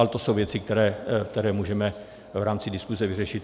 Ale to jsou věci, které můžeme v rámci diskuse vyřešit.